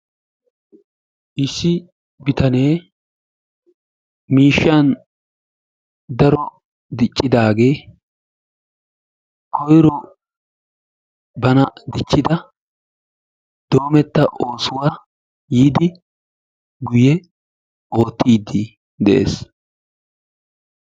Issi bitanee miishshan daro diccidaagee koyiro bana dichchida doometta oosuwaa yiidi guye oottiiddi de'ees.